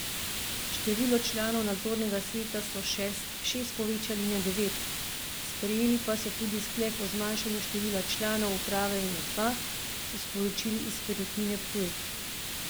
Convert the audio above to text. Število članov nadzornega sveta so s šest povečali na devet, sprejeli pa so tudi sklep o zmanjšanju števila članov uprave na dva, so sporočili iz Perutnine Ptuj.